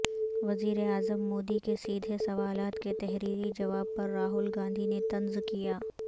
وزیراعظم مودی کے سیدھے سوالات کے تحریری جواب پر راہل گاندھی نے طنز کیا